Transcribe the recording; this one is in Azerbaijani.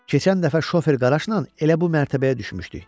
"Keçən dəfə şofer Qaraşla elə bu mərtəbəyə düşmüşdük.